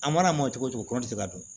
A mana mɔ cogo o cogo kɔnɔn tɛ se ka dun